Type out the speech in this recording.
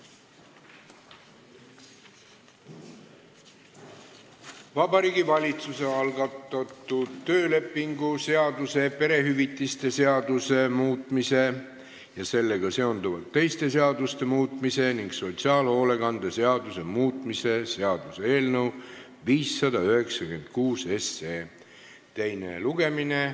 Vabariigi Valitsuse algatatud töölepingu seaduse, perehüvitiste seaduse muutmise ja sellega seonduvalt teiste seaduste muutmise ning sotsiaalhoolekande seaduse muutmise seaduse eelnõu 596 teine lugemine.